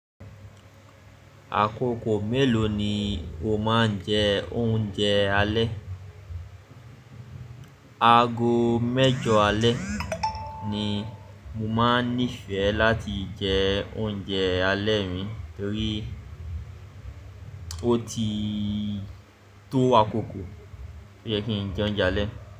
Àkókò mélòó ni o máa ń jẹ oúnjẹ alẹ́? Ago mẹ́jọ alẹ́ ni mo máa ń nífẹ̀ẹ́ láti jẹ oúnjẹ alẹ́ mi torí ó ti tó àkókò tí ó yẹ kí n jẹ oúnjẹ alẹ́.